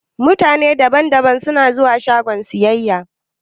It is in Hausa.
Mutane da ban da ban suna zuwa shagon siyayya.